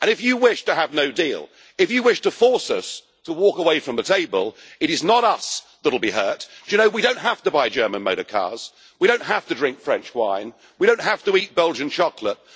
If you wish to have no deal, if you wish to force us to walk away from the table, it is not us that will be hurt. Do you know, we do not have to buy German motor cars, we do not have to drink French wine, we do not have to eat Belgian chocolate.